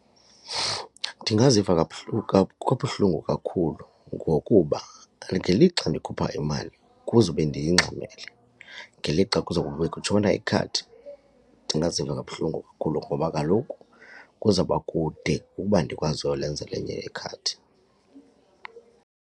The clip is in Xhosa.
Ndingaziva kabuhlungu kakhulu ngokuba ngelixa ndikhupha imali kuzube ndiyingxamele, ngelixa kuzawube kutshona ikhadi ndingaziva kabuhlungu kakhulu ngoba kaloku kuzawuba kude ukuba ndikwazi uyolenza elinye ikhadi.